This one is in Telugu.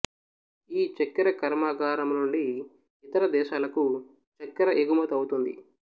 ఈ చక్కెర కర్మాగారము నుండి ఇతర దేశాలకు చక్కెర ఎగుమతి అవుతుంది